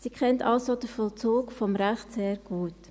Sie kennt also den Vollzug des Rechts sehr gut.